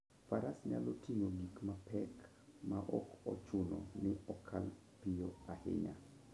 Faras nyalo ting'o gik mapek maok ochuno ni okal piyo ahinya.